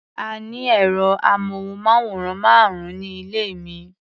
A ní ẹ̀rọ-amóhùnmáwòrán márùn-ún ní ilé mi.